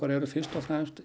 eru fyrst og fremst